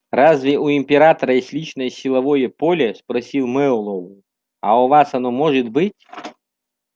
разве у императора есть личное силовое поле спросил мэллоу а у вас оно может быть